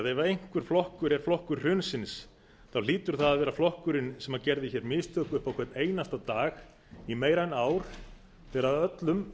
ef einhver flokkur er flokkur hrunsins hlýtur það að vera flokkurinn sem gerði hér mistök upp á hvern einasta dag í meira en ár þegar öllum